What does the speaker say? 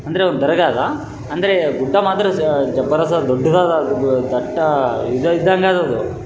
ಅಂದ್ರೆ ಒಂದು ದರ್ಗಾದ ಅಂದ್ರೆ ಗುಡ್ಡ ಮಾತ್ರ ಸ ಜಬರದಸ್ತ್ ದೊಡ್ಡದದ ಅದು ದಡ್ಡ ಇದ ಇದ್ದಂಗ ಅದ ಅದು.